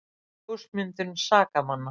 Ljósmyndun sakamanna